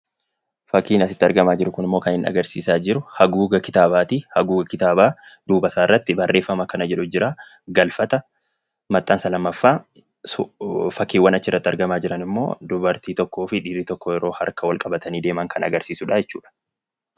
Fakkiin asitti argamu kunimmoo kan inni agarsiisaa jiru haguuga kitaabaati. Haguuga kitaabaa duubisaarratti barreeffama akkana jedhutu jira, "Galfata" maxxansa 2ffaadhaa. Fakkiin achirrattii argamu dubartii tokkoo fi dhiira tokkodha.